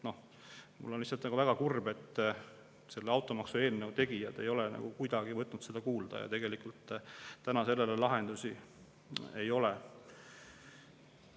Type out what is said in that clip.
Ma olen lihtsalt väga kurb, et selle automaksu eelnõu tegijad ei ole kuidagi võtnud seda kuulda ja tegelikult praegu sellele lahendusi ei ole.